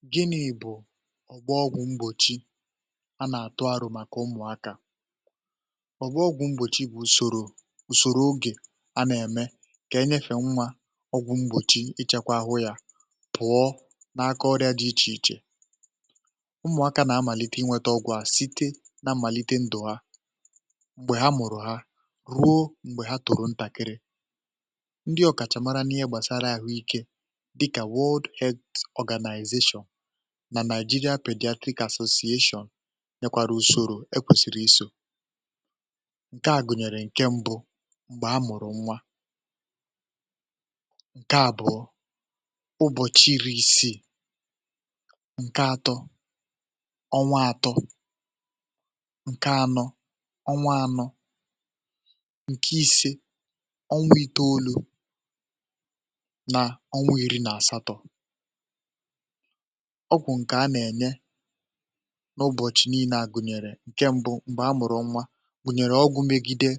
whygịnị bụ̀ ọ̀gbu ọgwụ̀ mgbòchi a na-atụ arọ màkà ụmụ̀akȧ ọ̀gbu ọgwụ̀ mgbòchi bụ̀ ùsòrò ùsòrò ogè um a na-eme kà enyefè nwa ọgwụ̀ mgbòchi ịchakwa àhụ yȧ pụ̀ọ na-aka ọrịa dị ichè ichè ụmụ̀akȧ na-amàlite inwėtȧ ọ̇gwụ̇ a site na-amàlite ndụ̀ ham̀gbè ha mụ̀rụ̀ ha, ruo m̀gbè ha tụ̀rụ̀ ntàkịrị̇ dịkà world health organization na Nigeria paedastic association nyekwara usoro e kwesiri iso ǹke a gụnyere ǹke mbụ m̀gbè a mụ̀rụ̀ nwa ǹke àbụ̀ọ ụbọchị iri isii ǹke atọ ọnwa atọ ǹke anọ ọnwa anọ ǹke ise na ọnwụ iri na asatọ̀ um ọgwụ̀ nke a na-enye n’ụbọ̀chị niinè a gụ̀nyèrè ǹke mbụ m̀gbè amụ̀rụ̀ nwa gụ̀nyèrè ọgwụ̇ megide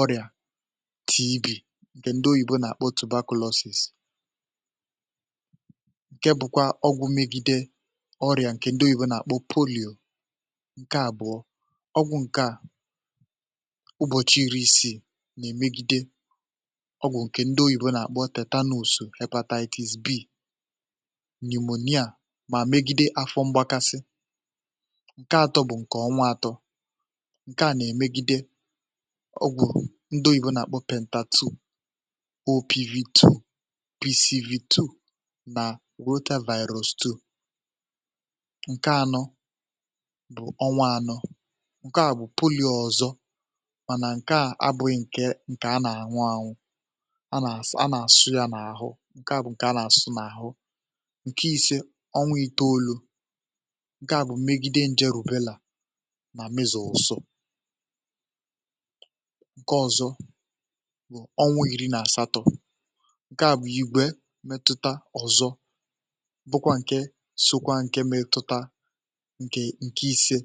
ọrịà tb ǹkè ndị oyibo nà-àkpọ otù vacuum vacuum ǹke bụkwa ọgwụ̇ megide ọrịà ǹkè ndị oyibo nà-àkpọ polìò ǹke àbụọ ọgwụ̀ ǹkè a ụbọ̀chị iri̇ isiì nà-emegide n’imònìà um mà megide afọ mgbakasị ǹke atọ̇ bụ̀ ǹkè ọnwa atọ̇ ǹke à nà-èmegide ọgwụ̀ ndoyibụ nà-àkpọ pèntàtu opvtwo bcvtwo nà olotovirilstool ǹke anọ bụ̀ ọnwa anọ um ǹke à bụ̀ polo ọ̀zọ mànà ǹke à abụghị ǹkè ǹkè a nà-àṅụ ànwụ ǹke à bụ̀ ǹke a nà-àsụ n’àhụ ǹke ise ọnwa iteolu̇ ǹke à bụ̀ megide njeru̇bela nà mezòsò nke ọ̇zọ̇ bụ̀ ọnwa iri nà àsatọ̇ ǹke à bụ̀ igwe metuta ọzọ bụkwa ǹke sȯkwa ǹke metuta ǹke ǹke ise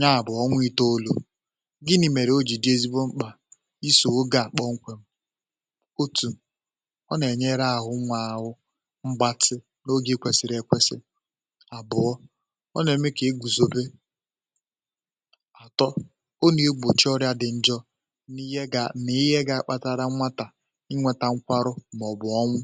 nyaà bụ̀ ọnwa iteolu̇ gịnị̇ mèrè oji̇dị ezigbo mkpà isò ogė à kpọmkwem ọ nà-ènyere àhụ nwȧ ȧhụ̇ mgbatị n’oge ị kwẹ̀sị̀rị̀ ẹ̀kwẹsị ọ nà-eme kà ị gùzòbe àtọ o nà-igbòchi ọrịa dị̇ njọ n’ihe gà nà ihe gȧ-akpatara nmatà inweta nkwarụ màọbụ̀ ọnwụ̇